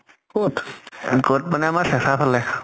কʼত? কʼত মানে আমাৰ চেচাৰ ফালে।